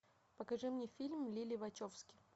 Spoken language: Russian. покажи мне фильм лилли вачовски